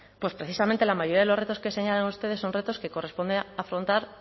pues precisamente la mayoría de los retos que señalan ustedes son retos que corresponde a afrontar